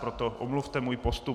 Proto omluvte můj postup.